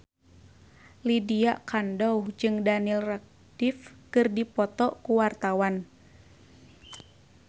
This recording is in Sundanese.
Lydia Kandou jeung Daniel Radcliffe keur dipoto ku wartawan